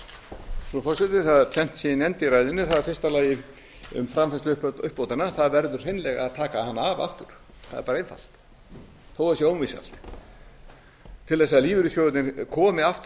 tvennt sem ég nefndi í ræðunni það er í fyrsta lagi um framfærslu uppbótanna það verður hreinlega að taka hana af aftur það er bara einfalt þó það sé ómissandi til að lífeyrissjóðirnir komi aftur